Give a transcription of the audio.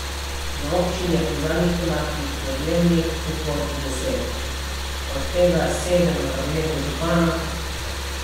Na občini je po zadnjih podatkih podjemnih pogodb deset, od tega sedem v kabinetu župana.